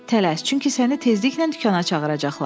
Tələs, çünki səni tezliklə dükana çağıracaqlar.